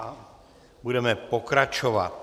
A budeme pokračovat.